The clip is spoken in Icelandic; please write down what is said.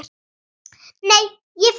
Nei, ég fer einn!